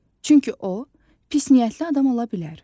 Çünki o, pis niyyətli adam ola bilər.